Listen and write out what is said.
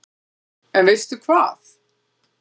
En veistu hvað